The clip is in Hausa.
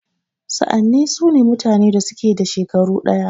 Sa'anni sune mutanen da suke da shekaru ɗaya.